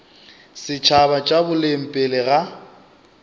setšhaba tša boleng pele ga